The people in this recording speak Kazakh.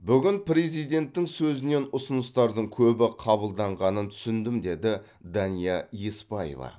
бүгін президенттің сөзінен ұсыныстардың көбі қабылданғанын түсіндім деді дания еспаева